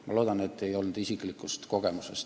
Ma loodan, et see ei lähtunud isiklikust kogemusest.